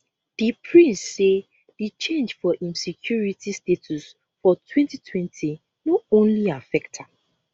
di prince say di change for im security status for 2020 no only affect am